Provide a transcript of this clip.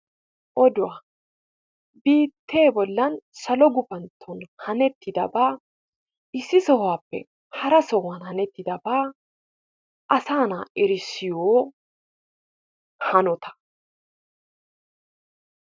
Oduwa biittee bollan salo gufantton hanettidabat issi sohuwappe hara sohuwan hanettidaba asaa na'aa erissiyo hanota.